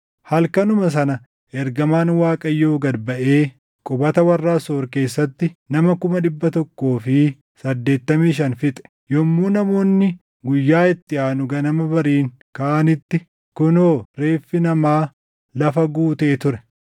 Halkanuma sana ergamaan Waaqayyoo gad baʼee qubata warra Asoor keessatti nama kuma dhibba tokkoo fi saddeettamii shan fixe. Yommuu namoonni guyyaa itti aanu ganama bariin kaʼanitti kunoo reeffi namaa lafa guutee ture!